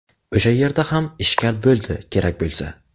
O‘sha yerda ham ‘ishkal’ bo‘ldi, kerak bo‘lsa.